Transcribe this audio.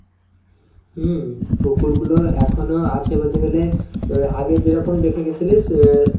হম পুকুরগুলো এখনো আছে বলতে গেলে অ্যাঁ আগে যেরকম দেখে গেছিলিস অ্যাঁ